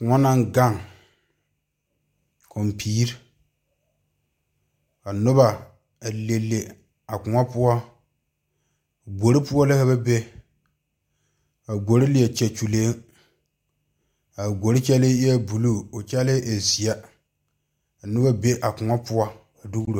Kõɔ naŋ gaŋ koŋpiire ka nobɔ a le le a kõɔ poɔ gbore poɔ la ka be a gbore leɛ kyɛ kyuleeŋ a gbore kyɛlee eɛɛ bluu koo kyɛlee e zeɛ ka nobɔ be a kõɔ poɔ a dugro.